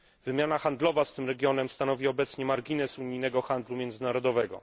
Wymiana handlowa z tym regionem stanowi obecnie margines unijnego handlu międzynarodowego.